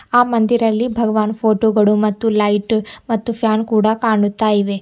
ಆ ಮಂದಿರಲಿ ಭಗವಾನ್ ಫೋಟೋಗಳು ಮತ್ತು ಲೈಟು ಮತ್ತು ಫ್ಯಾನ್ ಕೂಡ ಕಾಣುತ್ತಾ ಇವೆ.